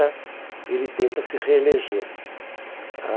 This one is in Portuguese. ele tenta se reeleger. Ah